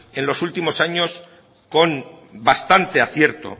en los últimos años con bastante acierto